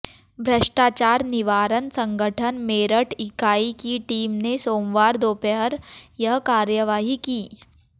भ्रष्टाचार निवारण संगठन मेरठ इकाई की टीम ने सोमवार दोपहर यह कार्रवाई की